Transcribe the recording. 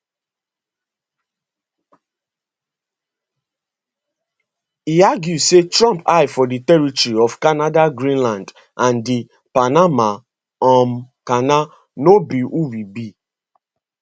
e argue say trump eye for di territory of canada greenland and di panama um canal no be who we be